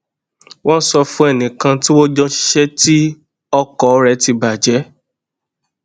wón sọ fún ẹnì kan tí wón jọ ń ṣiṣé ti ọkò rè ti bà jé